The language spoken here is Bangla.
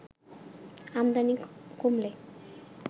আমদানি কমলে